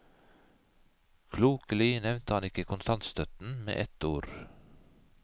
Klokelig nevnte han ikke kontantstøtten med et ord.